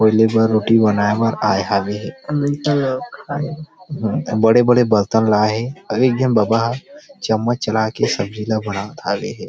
पहले बार रोटी बनाए बर आए हवे हे बड़े - बड़े बर्तन लाय हे अऊ एक झन बबा ह चम्मच चला के सब्जी ला बनात हवे हे।